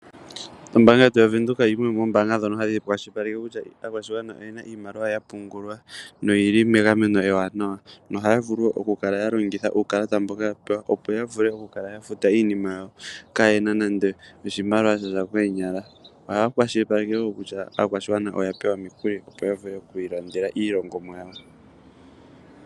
Ombaanga yetu ya Venduka oyo yimwe ndjono hayi kwashilipaleke kutya aakwashigwana oyena iimaliwa ya pungulwa , no yili megameno ewanawa, no haya vulu oku kala ya longitha uukalata mboka ya pewa, opo ya vule oku kala ya futa iinima ya wo ka yena nando oshimaliwa sha za koonyala. Ohaya kwashilipaleke woo kutya aakwashigwana oya pewa omikuli opo ya vule okwii landela iilongomwa yawo.